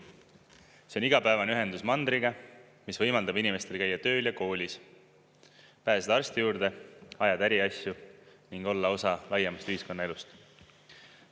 See on igapäevane ühendus mandriga, mis võimaldab inimestel käia tööl ja koolis, pääseda arsti juurde, ajada äriasju ning olla osa laiemast ühiskonnaelust.